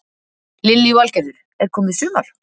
Lillý Valgerður: Er komið sumar?